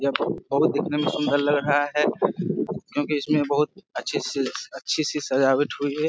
यह बहुत बहुत दिखने में सुंदर लग रहा है क्योंकि इसमें बहुत अच्छी सी अच्छी सी सजावट हुई है।